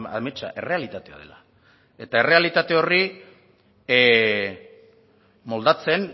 ametsa errealitatea dela eta errealitate horri moldatzen